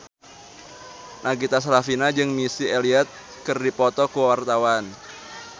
Nagita Slavina jeung Missy Elliott keur dipoto ku wartawan